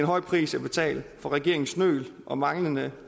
høj pris at betale for regeringens nøl og manglende